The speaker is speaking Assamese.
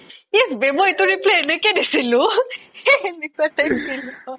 ইছ বে মই এইটো reply এনেকৈ দিছিলোঁ